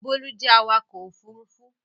Bólú jẹ́ awakọ̀ ófurufú